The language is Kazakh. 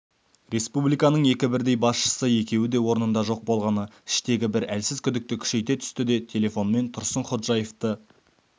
республиканың екі бірдей басшысы екеуі де орнында жоқ болғаны іштегі бір әлсіз күдікті күшейте түсті де телефонмен тұрсынходжаевты